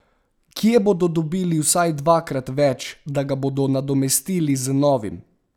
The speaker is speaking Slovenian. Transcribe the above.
Kje bodo dobili vsaj dvakrat več, da ga bodo nadomestili z novim?